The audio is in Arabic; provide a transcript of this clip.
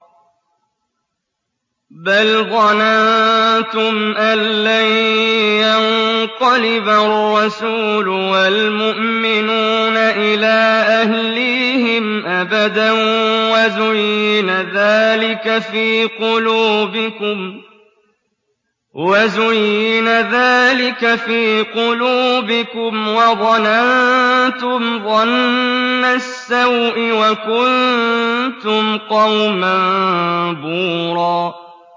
بَلْ ظَنَنتُمْ أَن لَّن يَنقَلِبَ الرَّسُولُ وَالْمُؤْمِنُونَ إِلَىٰ أَهْلِيهِمْ أَبَدًا وَزُيِّنَ ذَٰلِكَ فِي قُلُوبِكُمْ وَظَنَنتُمْ ظَنَّ السَّوْءِ وَكُنتُمْ قَوْمًا بُورًا